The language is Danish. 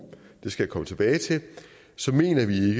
det skal jeg komme tilbage til så mener vi